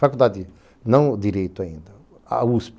Faculdade não direito ainda, a USP.